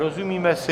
Rozumíme si?